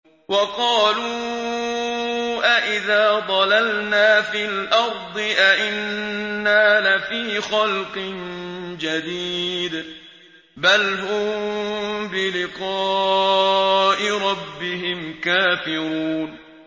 وَقَالُوا أَإِذَا ضَلَلْنَا فِي الْأَرْضِ أَإِنَّا لَفِي خَلْقٍ جَدِيدٍ ۚ بَلْ هُم بِلِقَاءِ رَبِّهِمْ كَافِرُونَ